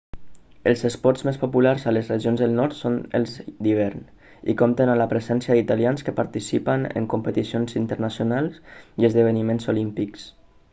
els esports més populars a les regions del nord són els d'hivern i compten amb la presència d'italians que participen en competicions internacionals i esdeveniments olímpics